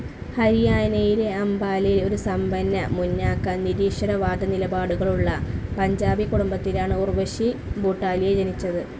ഹരിയാനയിലെ അംബാലയിൽ ഒരു സമ്പന്ന, മുന്നാക്ക, നിരീശ്വരവാദ നിലപാടുകളുള്ള പഞ്ചാബി കുടുംബത്തിലാണ് ഉർവ്വശി ഭൂട്ടാലിയ ജനിച്ചത്.